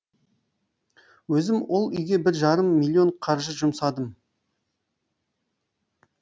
өзім ол үйге бір жарым миллион қаржы жұмсадым